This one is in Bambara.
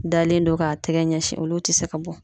Dalen do k'a tɛgɛ ɲɛsin olu tɛ se ka bɔ.